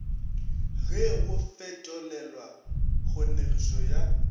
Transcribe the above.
ge go fetolelwa kgonegišo ya